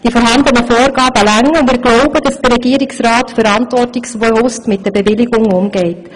Die vorhandenen Vorgaben reichen, und wir glauben, dass der Regierungsrat verantwortungsbewusst mit den Bewilligungen umgeht.